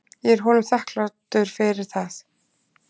Ég er honum þakklátur fyrir það.